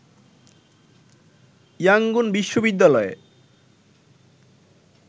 Yangon বিশ্ববিদ্যালয়ে